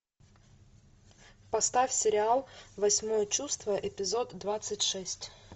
поставь сериал восьмое чувство эпизод двадцать шесть